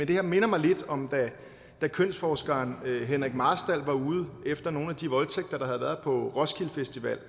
det her minder mig lidt om da kønsforskeren henrik marstal efter nogle af de voldtægter der havde været på roskilde festival